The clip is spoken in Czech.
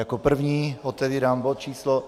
Jako první otevírám bod číslo